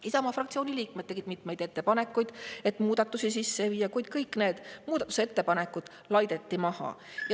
Isamaa fraktsiooni liikmed tegid mitmeid ettepanekuid, et muudatusi sisse viia, kuid kõik need muudatusettepanekud laideti maha.